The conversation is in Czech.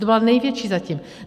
To byla největší zatím.